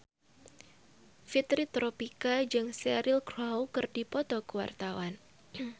Fitri Tropika jeung Cheryl Crow keur dipoto ku wartawan